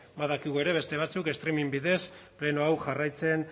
badakigu ere beste batzuk streaming bidez pleno hau jarraitzen